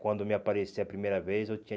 Quando me apareceu a primeira vez, eu tinha